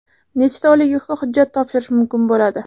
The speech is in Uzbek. Nechta oliygohga hujjat topshirish mumkin bo‘ladi?